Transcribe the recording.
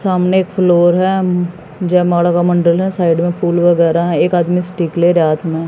सामने एक फ्लोर है। जयमाला का मंडल है साइड में फूल वगैरा है। एक आदमी स्टिक ले रहा हाथ में--